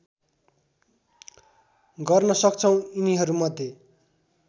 गर्न सक्छौँ यिनीहरूमध्ये